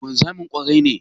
Wanzamin ƙwarai ne?